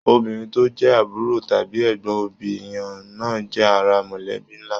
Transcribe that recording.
Obìnrin tó jẹ àbúrò tàbí ẹgbọn òbí èèyàn náà jẹ́ ara mọ̀lẹ́bí nlá.